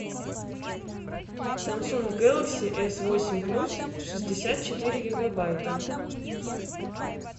самсунг гэлакси эс восемь плюс шестьдесят четыре гигабайта